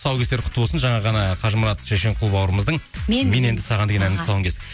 тұсау кесер құтты болсын жаңа ғана қажымұрат шешенқұл бауырымыздың мен енді саған деген әнінің тұсауын кестік